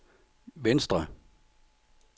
venstre